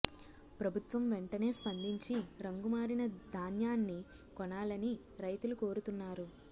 ప్రభుత్వం వెంటనే స్పందించి రంగు మారిన ధాన్యాన్ని కొనాలని రైతులు కోరుతున్నారు